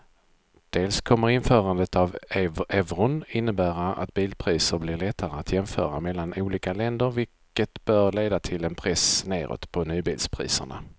Dels kommer införandet av euron innebära att bilpriser blir lättare att jämföra mellan olika länder vilket bör leda till en press nedåt på nybilspriserna.